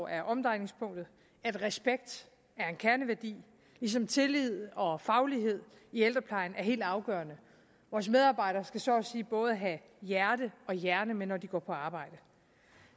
er omdrejningspunktet at respekt er en kerneværdi ligesom tillid og faglighed i ældreplejen er helt afgørende vores medarbejdere skal så at sige både have hjerte og hjerne med når de går på arbejde